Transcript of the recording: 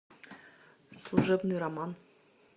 служебный роман